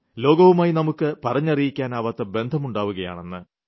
ലോകവുമായി നമുക്ക് പറഞ്ഞറിയിക്കാനാവാത്ത ബന്ധം ഉണ്ടാവുകയാണ്